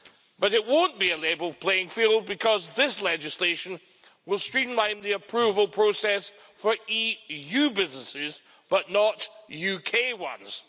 But it won't be a level playing field because this legislation will streamline the approval process for EU businesses, but not UK ones.